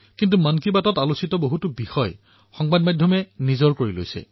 কিন্তু মন কী বাতত উত্থাপন কৰা বিষয়সমূহ সংবাদ মাধ্যমে আঁকোৱালি লৈছে